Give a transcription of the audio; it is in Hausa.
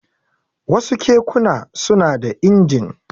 Wasu kekuna suna da injin.